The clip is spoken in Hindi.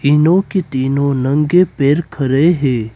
तीनों के तीनों नंगे पैर खड़े हैं।